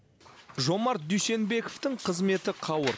жомарт дүйсенбековтің қызметі қауырт